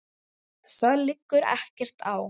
Og það liggur ekkert á.